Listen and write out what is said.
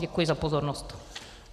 Děkuji za pozornost.